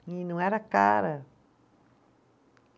E não era cara.